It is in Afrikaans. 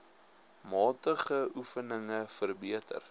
matige oefeninge verbeter